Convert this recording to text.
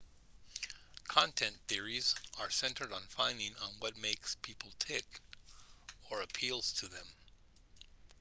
content theories are centered on finding what makes people tick or appeals to them